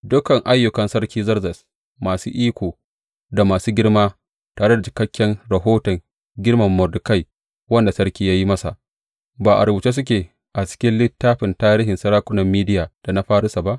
Dukan ayyukan Sarki Zerzes masu iko da masu girma tare da cikakken rahoton girmama Mordekai wanda sarki ya yi masa, ba a rubuce suke a cikin littafin tarihin sarakunan Mediya da na Farisa ba?